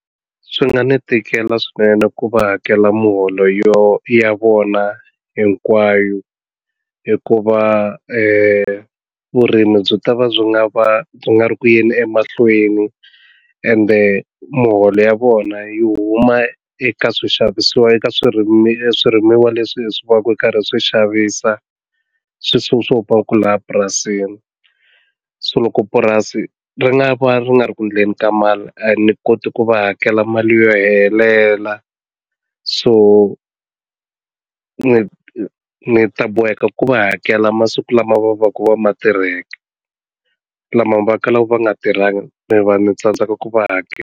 Swi nga ni tikela swinene ku va hakela muholo ya vona hinkwayo hikuva vurimi byi ta va byi nga va nga ri ku yeni emahlweni ende muholo ya vona yi huma eka swixavisiwa eka swirimiwa swirimiwa leswi swi va ku ri karhi swi xavisa swilo swo swo paka ku laha purasini so loko purasi ri nga va ri nga ri ku endleni ka mali a ni koti ku va hakela mali yo helela so ni ni ta boheka ku va hakela masiku lama va va ka va ma tirheke lama va kalaka va nga tirhangi mi va ni tsandzeka ku va hakela.